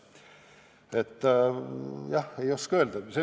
Jah, ei oska öelda.